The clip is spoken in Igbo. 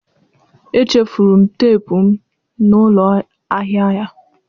Echefuru m teepu m na ụlọ ahịa ya.